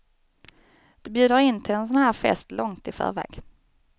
De bjuder in till en sådan här fest långt i förväg.